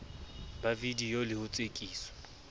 ba vidiyo le ho tsekiswa